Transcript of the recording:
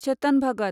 Chetan Bhagat